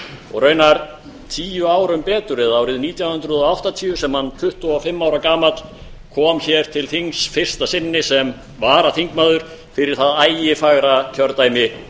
og raunar tíu árum betur eða árið nítján hundruð og áttatíu sem hann tuttugu og fimm ára gamall kom hér til þings fyrsta sinni sem varaþingmaður fyrir það ægifagra kjördæmi